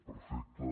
perfecte